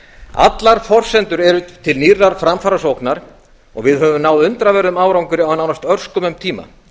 allar forsendur eru til nýrrar framfarasóknar og við höfum náð undraverðum árangri á nánast örskömmum tíma